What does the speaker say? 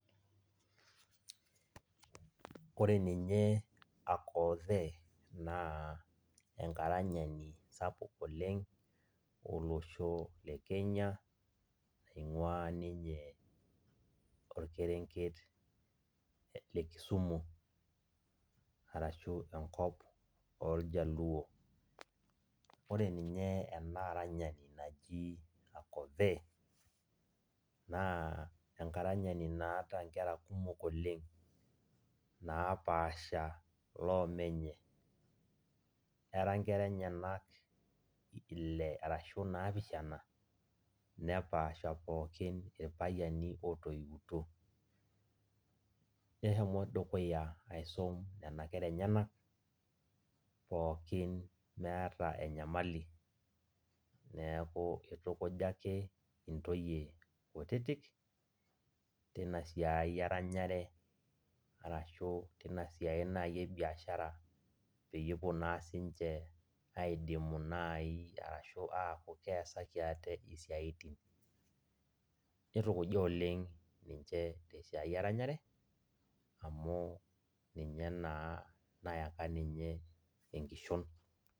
Ore ninye Akothe, naa enkaranyi sapuk oleng' olosho le Kenya, ing'ua ninye orkerenket le Kisumu, arashu enkop oljaluo. Ore ninye enaranyani naji Akothe, naa enkaranyi naaata nkera kumok oleng', napaasha loomenye. Era nkera enyanak ile arashu naapishana, nepaasha pookin irpayiani otoiutuo. Neshomo dukuya aisum nena kera enyanak, pookin meeta enyamali. Neeku itukuja ake intoyie kutitik, tinasiai eranyare, arashu tinasiai naji ebiashara, peyie epuo naa sinche aidimu nai arashu keeku keesaki ate, isiaitin. Nitukuja oleng' ninche tesiai eranyare, amu ninye naa nayaka ninye enkishon.